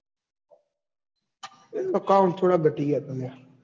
એ તો count થોડાં ઘટી ગયાં તા લ્યા